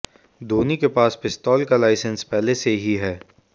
धोनी के पास पिस्तौल का लाइसेंस पहले से ही है